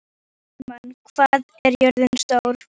Hallmann, hvað er jörðin stór?